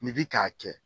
Ni bi k'a kɛ